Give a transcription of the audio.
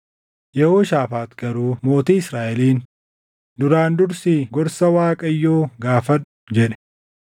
Yehooshaafaax garuu mootii Israaʼeliin, “Duraan dursii gorsa Waaqayyoo gaafadhu” jedhe.